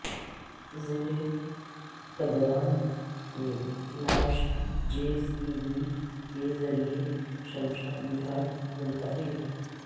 ضلع گدوال میں نعش جے سی بی کے ذریعہ شمشان گھاٹ منتقل